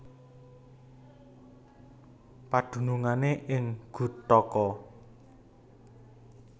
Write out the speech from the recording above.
Padunungané ing Guthaka